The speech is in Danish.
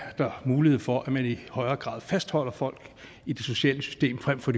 der mulighed for at man i højere grad fastholder folk i det sociale system frem for